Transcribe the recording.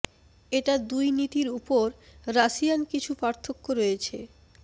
এটা দুই নীতির ওপর রাশিয়ান কিছু পার্থক্য রয়েছে ঃ